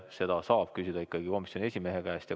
Seda saab küsida ikkagi komisjoni esimehe käest.